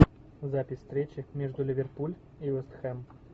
запись встречи между ливерпуль и вест хэм